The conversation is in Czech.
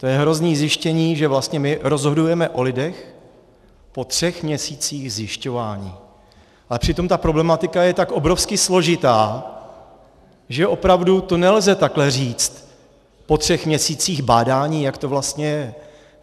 To je hrozné zjištění, že vlastně my rozhodujeme o lidech po třech měsících zjišťování, ale přitom ta problematika je tak obrovsky složitá, že opravdu to nelze takhle říct po třech měsících bádání, jak to vlastně je.